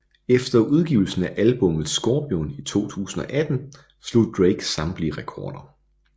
Efter udgivelsen af albummet Scorpion i 2018 slog Drake samtlige rekorder